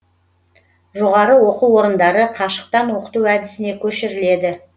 жоғары оқу орындары қашықтан оқыту әдісіне көшіріледі